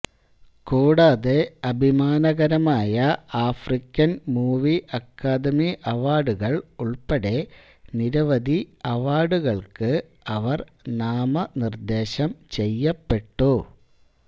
കൂടാതെ അഭിമാനകരമായ African movie academy അവാർഡുകൾ ഉൾപ്പെടെ നിരവധി അവാർഡുകൾക്ക് അവർ നാമനിർദ്ദേശം ചെയ്യപ്പെട്ടു